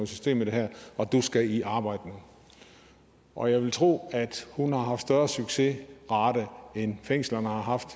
system i det her og du skal i arbejde og jeg vil tro at hun har haft en større succesrate end fængslerne har haft